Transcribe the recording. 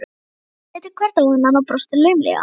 Strákarnir litu hver á annan og brostu laumulega.